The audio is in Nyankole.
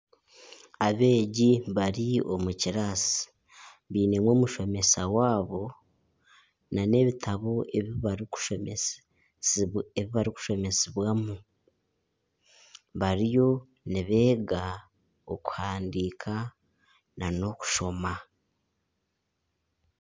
Abeegi bari omu kiraasi bainemu omushomesa waabo nana ebitabo ebibarikushomesibwamu bariyo nibeega okuhandiika nana okushoma.